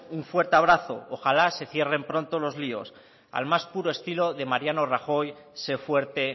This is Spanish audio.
un fuerte abrazo ojalá se cierren pronto los líos al más puro estilo de mariano rajoy se fuerte